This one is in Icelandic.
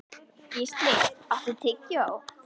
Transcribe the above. Gísli, áttu tyggjó?